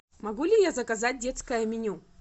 могу ли я заказать детское меню